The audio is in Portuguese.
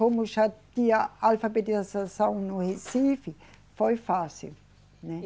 Como já tinha alfabetização no Recife, foi fácil, né?